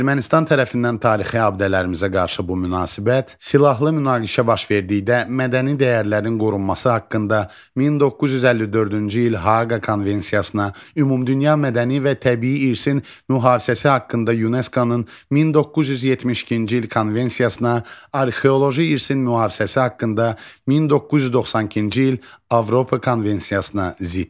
Ermənistan tərəfindən tarixi abidələrimizə qarşı bu münasibət silahlı münaqişə baş verdikdə mədəni dəyərlərin qorunması haqqında 1954-cü il Haaqa konvensiyasına, Ümumdünya mədəni və təbii irsin mühafizəsi haqqında UNESCO-nun 1972-ci il konvensiyasına, arxeoloji irsin mühafizəsi haqqında 1992-ci il Avropa konvensiyasına ziddir.